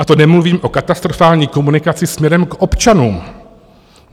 A to nemluvím o katastrofální komunikaci směrem k občanům.